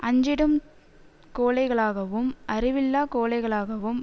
அஞ்சிடும் கோழைகளாகவும் அறிவில்லாக் கோழைகளாகவும்